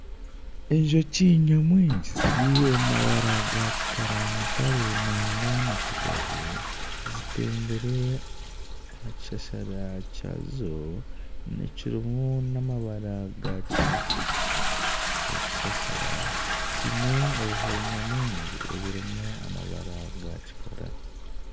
Enjoki nyamwingi ziri omu mabara gakikara ya mutare nangwa na kiganju zitembire aha kishashara kyazo ekirimu n'amabara gakinekye, ekishashara kiine obuhuru nyamwingi ebirimu amabara ga kikara.